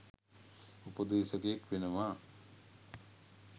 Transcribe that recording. උපදේශකයෙක් වෙනවා.